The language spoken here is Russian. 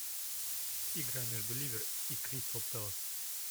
игра между ливер и кристал пэлас